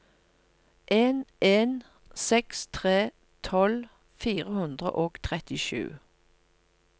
en en seks tre tolv fire hundre og trettisju